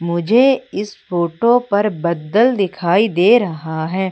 मुझे इस फोटो पर बदल दिखाई दे रहा है।